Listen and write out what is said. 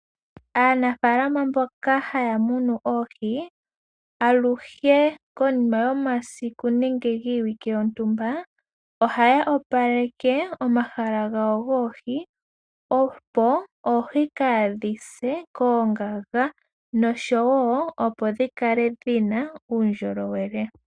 Aanafaalama mboka haya munu oohi, aluhe konima yomasiku nenge giiwike yontumba, ohaya opaleke omahala ga wo goohi opo oohi kaadhi se koongaga nosho woo opo dhi kale dhi na uundjolowele.